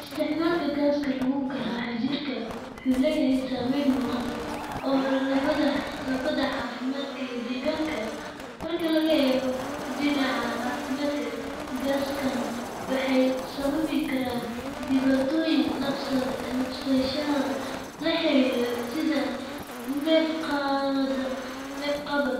Isticmaalka gaaska lagu garaaco jirka wuxuu leeyahay saameyn muuqata oo labadaba caafimaadka iyo deegaanka ah. Marka laga eego dhinaca caafimaadka, gaasaskan waxay sababi karaan dhibaatooyin neefsashada la xiriira sida neef-qabad,